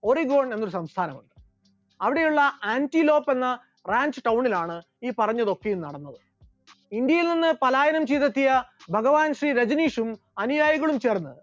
Oregon എന്നൊരു സംസ്ഥാനമുണ്ട്, അവിടെയുള്ള ആന്റിലോപ്പ് എന്ന റാഞ്ചു town ലാണ് ഈ പറഞ്ഞതൊക്കെയും നടന്നിട്ടുള്ളത്, ഇന്ത്യയിൽ നിന്നും പാലായനം ചെയ്തെത്തിയ ഭഗവൻ ശ്രീ രജനീഷും അനുയായികളും ചേർന്ന്